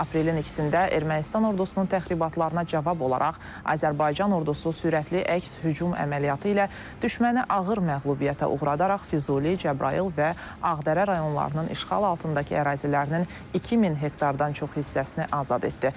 Aprelin 2-də Ermənistan ordusunun təxribatlarına cavab olaraq Azərbaycan ordusu sürətli əks-hücum əməliyyatı ilə düşməni ağır məğlubiyyətə uğradaraq Füzuli, Cəbrayıl və Ağdərə rayonlarının işğal altındakı ərazilərinin 2000 hektardan çox hissəsini azad etdi.